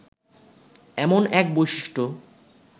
এমন এক বৈশিষ্ট্য